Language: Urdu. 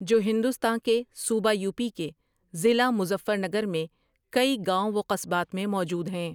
جو ہندوستاں کے صوبہ یو پی کے ضلع مظفرنگر میں کئی گاؤں و قصبات میں موجود ہیں ۔